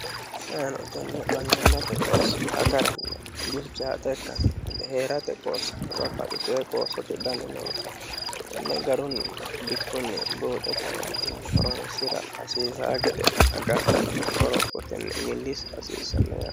sainotenni mannimmate qoossi agaranni bilchaaxe ikkanno hee'rate qooso babbaxitoe qoossote dani noota inne garunni bikkunni buuxe kayintinni horonsira hasiisa gede agadhanna gorophotenni millisa hasiissanno yare